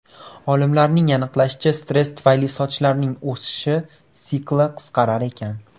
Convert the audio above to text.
Olimlarning aniqlashicha, stress tufayli sochlarning o‘sish sikli qisqarar ekan.